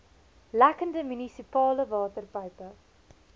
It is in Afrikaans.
lekkende munisipale waterpype